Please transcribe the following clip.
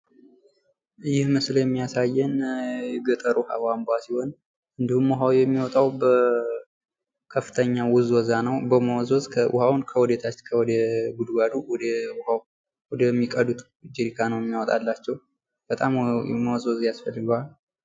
ይህ ምስል የሚያሳየን የገጠር ውሃ ቧንቧ ሲሆን እንድሁም ውሃው የሚወጣው በከፍተኛ ውዝወዛ ነው በመወዝወዝ ውሃውን ከወደታች ከወደ ጉድጓዱ ወደ ሚቀዱት ጀሪካን ነው የሚያወጣላቸው በጣም መወዝወዝ ያስፈልገዋል።